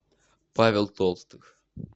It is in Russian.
павел толстых